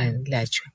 ayelatshwe.